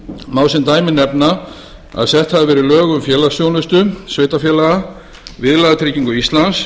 má sem dæmi nefna að sett hafa verið lög um félagsþjónustu sveitarfélaga viðlagatyggingu íslands